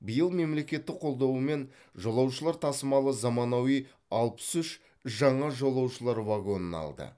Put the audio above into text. биыл мемлекеттік қолдауымен жолаушылар тасымалы заманауи алпыс үш жаңа жолаушылар вагонын алды